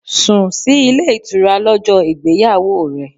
Sùn sí ilé ìtura lọ́jọ́ ìgbéyàwó rẹ.